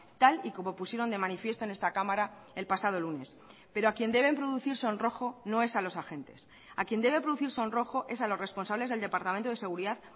tal y como pusieron de manifiesto en esta cámara el pasado lunes pero a quien deben producir sonrojo no es a los agentes a quien debe producir sonrojo es a los responsables del departamento de seguridad